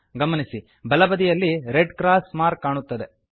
ಗಮನಿಸಿ ಬಲ ಬದಿಯಲ್ಲಿ ರೆಡ್ ಕ್ರಾಸ್ ಮಾರ್ಕ್ ಕಾಣುತ್ತದೆ